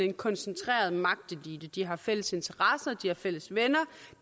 en koncentreret magtelite de har fælles interesser de har fælles venner og